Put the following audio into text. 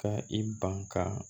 Ka i ban ka